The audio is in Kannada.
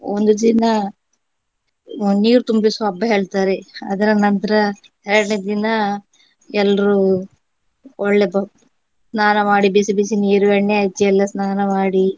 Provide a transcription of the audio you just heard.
ಒಂದು ದಿನ ನೀರು ತುಂಬಿಸುವ ಹಬ್ಬ ಹೇಳ್ತಾರೆ ಅದ್ರ ನಂತರ ಎರಡನೇ ದಿನ ಎಲ್ರೂ ಒಳ್ಳೆ ಸ್ನಾನ ಮಾಡಿ ಬಿಸಿ ಬಿಸಿ ನೀರು ಎಣ್ಣೆ ಹಚ್ಚಿ ಎಲ್ಲ ಸ್ನಾನ ಮಾಡಿ